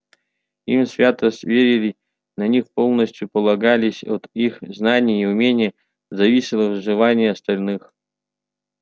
им свято верили на них полностью полагались от их знаний и умений зависело выживание остальных